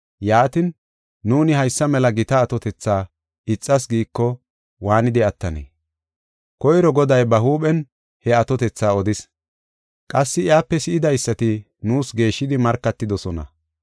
yaatin, nuuni haysa mela gita atotetha ixas giiko, waanidi attanee? Koyro Goday ba huuphen he atotetha odis; qassi iyape si7idaysati nuus geeshshidi markatidosona.